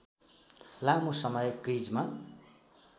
लामो समय क्रिजमा